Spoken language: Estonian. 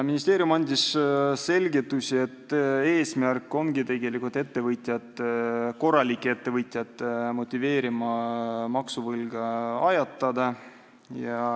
Ministeerium andis selgitusi, et eesmärk ongi tegelikult motiveerida korralikke ettevõtjaid maksuvõlga ajatama.